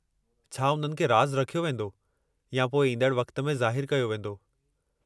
छा उन्हनि खे राज़ु रखियो वेंदो या पोइ इंदड़ वक़्त में ज़ाहिरु कयो वींदो?